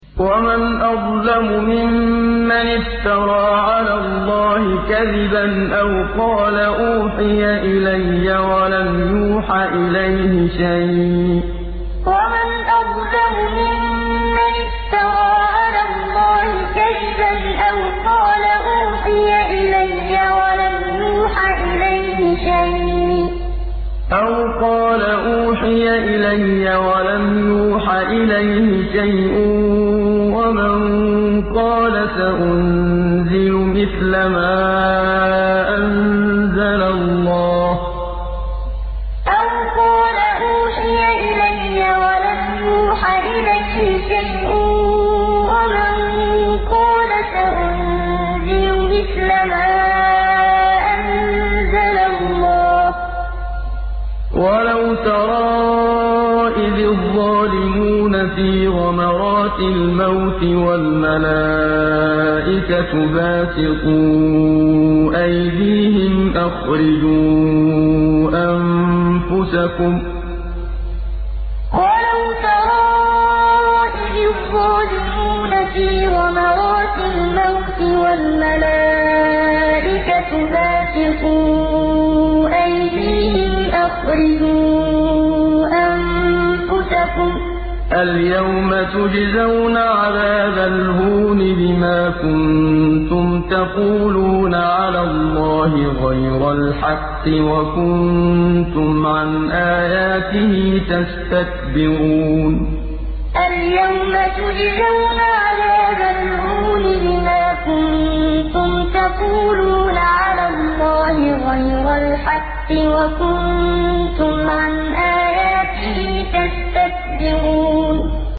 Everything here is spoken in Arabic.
وَمَنْ أَظْلَمُ مِمَّنِ افْتَرَىٰ عَلَى اللَّهِ كَذِبًا أَوْ قَالَ أُوحِيَ إِلَيَّ وَلَمْ يُوحَ إِلَيْهِ شَيْءٌ وَمَن قَالَ سَأُنزِلُ مِثْلَ مَا أَنزَلَ اللَّهُ ۗ وَلَوْ تَرَىٰ إِذِ الظَّالِمُونَ فِي غَمَرَاتِ الْمَوْتِ وَالْمَلَائِكَةُ بَاسِطُو أَيْدِيهِمْ أَخْرِجُوا أَنفُسَكُمُ ۖ الْيَوْمَ تُجْزَوْنَ عَذَابَ الْهُونِ بِمَا كُنتُمْ تَقُولُونَ عَلَى اللَّهِ غَيْرَ الْحَقِّ وَكُنتُمْ عَنْ آيَاتِهِ تَسْتَكْبِرُونَ وَمَنْ أَظْلَمُ مِمَّنِ افْتَرَىٰ عَلَى اللَّهِ كَذِبًا أَوْ قَالَ أُوحِيَ إِلَيَّ وَلَمْ يُوحَ إِلَيْهِ شَيْءٌ وَمَن قَالَ سَأُنزِلُ مِثْلَ مَا أَنزَلَ اللَّهُ ۗ وَلَوْ تَرَىٰ إِذِ الظَّالِمُونَ فِي غَمَرَاتِ الْمَوْتِ وَالْمَلَائِكَةُ بَاسِطُو أَيْدِيهِمْ أَخْرِجُوا أَنفُسَكُمُ ۖ الْيَوْمَ تُجْزَوْنَ عَذَابَ الْهُونِ بِمَا كُنتُمْ تَقُولُونَ عَلَى اللَّهِ غَيْرَ الْحَقِّ وَكُنتُمْ عَنْ آيَاتِهِ تَسْتَكْبِرُونَ